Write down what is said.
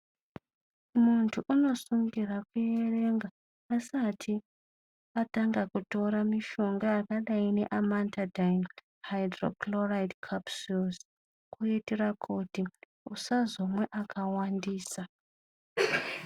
Mundu anosungirwa kuverenga asati atanga kutora mishonga yakadai seamantadhaini haidhurokuroraidhi kepisulusi kuitira kuti usazomwa akawandisa.